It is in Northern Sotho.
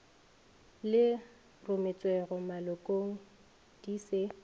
le rometšwego malokong di se